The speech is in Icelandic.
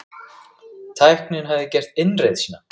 Tæknin hafði gert innreið sína.